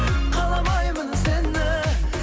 каламаймын сені